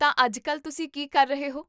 ਤਾਂ ਅੱਜ ਕੱਲ੍ਹ ਤੁਸੀਂ ਕੀ ਕਰ ਰਹੇ ਹੋ?